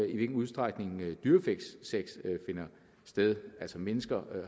i hvilket udstrækning dyresex finder sted altså at mennesker